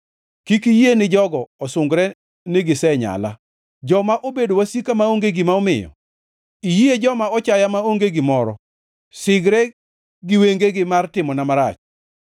Kik iyie ni jogo osungre ni gisenyala, joma obedo wasika maonge gima omiyo; iyie joma ochaya maonge gimoro sigre gi wengegi mar timona marach.